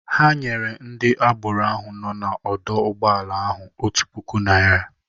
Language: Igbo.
Ha nyere ndị agboro ahụ nọọ n'ọdọ ụgbọala ahụ otu puku naira.